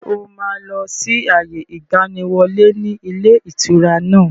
Ṣé o máa lọ sí àyè ìgbàníwọlé ni ilé ìtura náà?